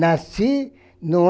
Nasci no